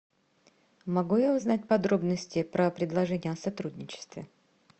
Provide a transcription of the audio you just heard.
могу я узнать подробности про предложение о сотрудничестве